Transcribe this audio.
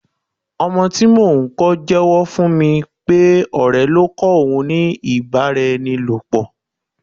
Ọmọ tí mò ń kó jewo fún mi pé ọ̀rẹ́ ló kọ́ òun ní ibaraenilopo.